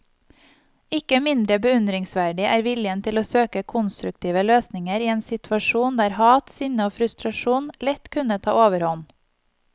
Ikke mindre beundringsverdig er viljen til å søke konstruktive løsninger i en situasjon der hat, sinne og frustrasjon lett kunne ta overhånd.